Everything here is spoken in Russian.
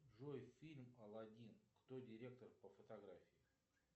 джой фильм алладин кто директор по фотографии